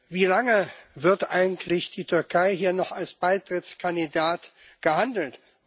Wie lange wird eigentlich die Türkei hier noch als Beitrittskandidat gehandelt?